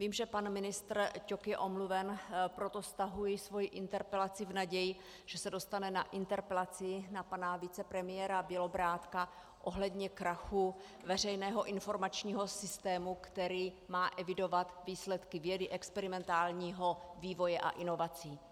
Vím, že pan ministr Ťok je omluven, proto stahuji svoji interpelaci v naději, že se dostane na interpelaci na pana vicepremiéra Bělobrádka ohledně krachu veřejného informačního systému, který má evidovat výsledky vědy, experimentálního vývoje a inovací.